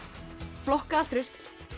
flokkað rusl